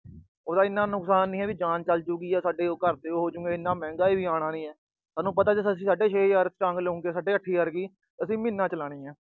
ਉਹਦਾ ਇੰਨਾ ਨੁਕਸਾਨ ਨੀ ਆ ਵੀ ਜਾਨ ਚਲਜੂਗੀ ਜਾਂ ਸਾਡੇ ਘਰ ਤੇ ਕੁਝ ਹੋਜੂਗਾ, ਇੰਨਾ ਮਹਿੰਗਾ ਵੀ ਨੀ ਆ। ਸਾਨੂੰ ਪਤਾ ਜੇ ਅਸੀਂ ਸਾਢੇ ਛੇ ਹਜਾਰ ਛਟਾਂਗ ਲਉਗੇ, ਸਾਢੇ ਅੱਠ ਹਜਾਰ ਦੀ, ਅਸੀਂ ਮਹੀਨਾ ਚਲਾਉਣੀ ਏ।